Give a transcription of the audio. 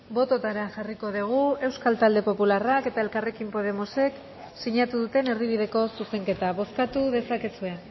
bototara jarriko dugu euskal talde popularrak eta elkarrekin podemosek sinatu duten erdibideko zuzenketa bozkatu dezakezue